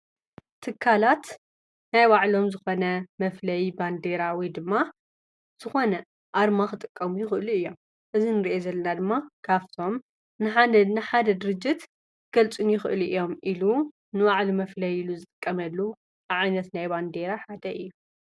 ኣብ ማእከል ቀጠልያ ዓንኬልን ጻዕዳ ምልክትን ዘለዋ ኣራንሺ ባንዴራ ኣብ ባሎ ተሰቂላ እንትከውን፣ ባንዴራ ናይ ሃገርን ፣ክልል፣ ትካላትን ኣርማ መለለይ እዩ።